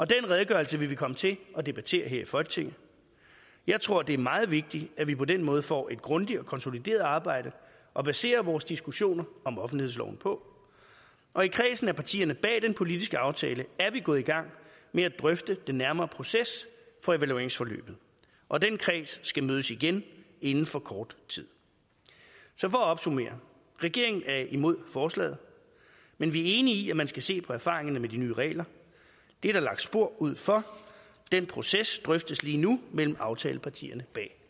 den redegørelse vil vi komme til at debattere her i folketinget jeg tror det er meget vigtigt at vi på den måde får et grundigt og konsolideret arbejde at basere vores diskussioner om offentlighedsloven på og i kredsen af partierne bag den politiske aftale er vi gået i gang med at drøfte den nærmere proces for evalueringsforløbet og den kreds skal mødes igen inden for kort tid så for at opsummere regeringen er imod forslaget men vi er enige i at man skal se på erfaringerne med de nye regler det er der lagt spor ud for den proces drøftes lige nu mellem aftalepartierne bag